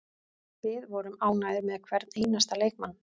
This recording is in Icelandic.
Við vorum ánægðir með hvern einasta leikmann.